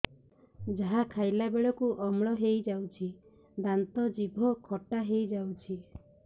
ଯାହା ଖାଇଲା ବେଳକୁ ଅମ୍ଳ ହେଇଯାଉଛି ଦାନ୍ତ ଜିଭ ଖଟା ହେଇଯାଉଛି